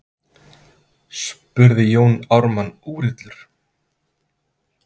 spurði Jón Ármann úrillur.